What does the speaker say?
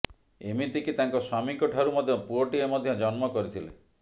ଏମିତିକି ତାଙ୍କ ସ୍ବାମୀଙ୍କ ଠାରୁ ମଧ୍ୟ ପୁଅଟିଏ ମଧ୍ୟ ଜନ୍ମ କରିଥିଲେ